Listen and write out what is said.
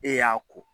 E y'a ko